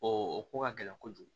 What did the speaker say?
o ko ka gɛlɛn kojugu